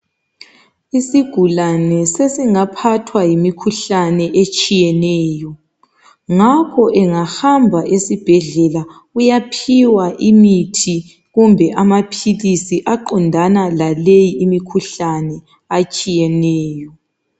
Isigulane sesingaphathwa yimikhuhlane etshiyeneyo. Ngakho engahamba esibhedlela uyaphiwa imithi kumbe amaphilisi aqondana laleyi imikhuhlane atshiyeneyo.